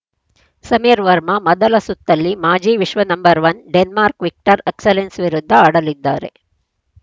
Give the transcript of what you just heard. ಸಮೀರ್‌ ವರ್ಮಾ ಮೊದಲ ಸುತ್ತಲ್ಲಿ ಮಾಜಿ ವಿಶ್ವ ನಂಬರ್ ಒಂದು ಡೆನ್ಮಾರ್ಕ್ನ ವಿಕ್ಟರ್‌ ಅಕ್ಸೆಲ್ಸೆನ್‌ ವಿರುದ್ಧ ಆಡಲಿದ್ದಾರೆ